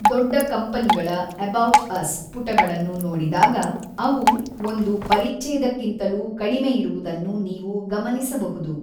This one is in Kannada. ದೊಡ್ಡ ಕಂಪನಿಗಳ “ಎಬೌಟ್ ಅಸ್” ಪುಟಗಳನ್ನು ನೋಡಿದಾಗ ಅವು ಒಂದು ಪರಿಛ್ಛೇದಕ್ಕಿಂತಲೂ ಕಡಿಮೆಯಿರುವುದನ್ನು ನೀವು ಗಮನಿಸಬಹುದು.